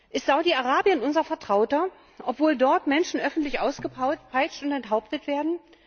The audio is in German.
Ist Saudi Arabien unser Vertrauter, obwohl dort Menschen öffentlich ausgepeitscht und enthauptet werden?